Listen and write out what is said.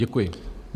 Děkuji.